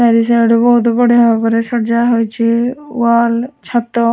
ଆରିସା ଆଡୁ ବୋହୁତ୍ ବଢ଼ିଆ ଭାବରେ ସଜା ହୋଇଚି ୱାଲ୍ ଛାତ --